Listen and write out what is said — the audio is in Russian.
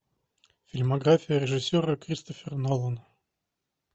фильмография режиссера кристофер нолан